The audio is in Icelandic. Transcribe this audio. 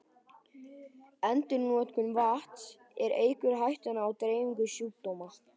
Endurnotkun vatns, sem eykur hættuna á dreifingu sjúkdóma.